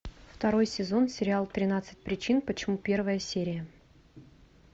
второй сезон сериал тринадцать причин почему первая серия